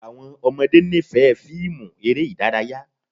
Àwọn ọmọde nifẹ fiimu ere idaraya